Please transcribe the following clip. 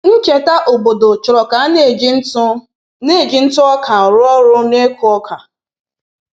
Ncheta obodo chọrọ ka a na-eji ntụ na-eji ntụ ọka rụ ọrụ n’ịkụ oka